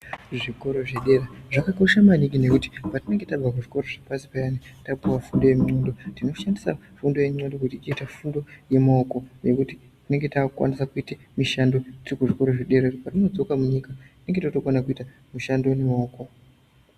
Zvikora zvedera zvakakosha mwaningi ngekuti patinemge tabva kuzvikora zvepashi payane tapuwa fundo yenxondo, tinoshandisa fundo yenxondo kuti tiite fundo yemaoko ngekuti tinenge takukwanisa kuite mishando tirimuzvikora zvedera .Patodzoka munyika tine tokona kuite mishando yemaoko.